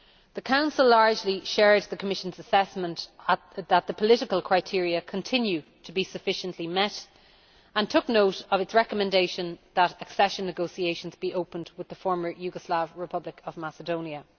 The Council largely shared the Commission's assessment that the political criteria continue to be sufficiently met and took note of its recommendation that accession negotiations be opened with the Former Yugoslav Republic of Macedonia.